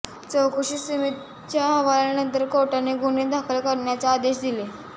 चौकशी समितीच्या अहवालानंतर कोर्टाने गुन्हे दाखल करण्याचे आदेश दिले